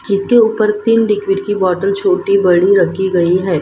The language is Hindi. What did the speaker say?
इसके ऊपर तीन लिक्विड की बॉटल छोटी बड़ी रखी गई है।